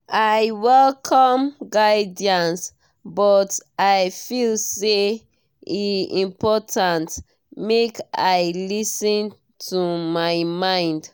i welcome guidance but i feel say e important make i lis ten to my mind.